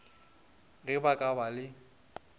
ge ba ka ba le